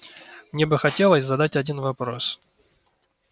мне бы хотелось задать один вопрос